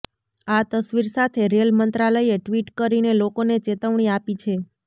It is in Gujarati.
આ તસવીર સાથે રેલ મંત્રાલયે ટિ્વટ કરીને લોકોને ચેતવણી આપી છે